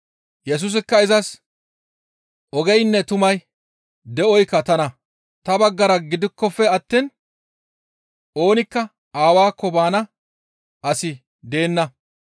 Yesusikka izas, «Ogeynne, tumay, de7oykka tana; ta baggara gidikkofe attiin oonikka Aawaakko baana asi deenna.